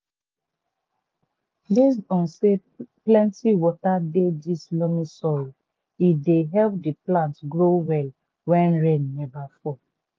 based on say plenty water dey this loamy soil e dey help the plants grow well wen rain neva fall.